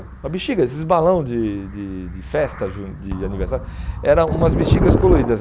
Uma bexiga, esses balão de de de festa jun, de aniversário, eram umas bexigas coloridas.